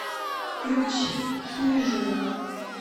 включи хижина